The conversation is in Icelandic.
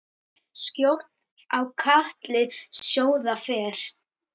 Skjótt á katli sjóða fer.